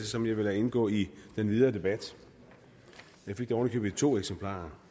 som jeg vil lade indgå i den videre debat jeg fik det oven i købet i to eksemplarer